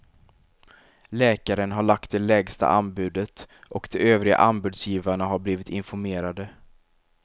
Läkaren har lagt det lägsta anbudet och de övriga anbudsgivarna har blivit informerade.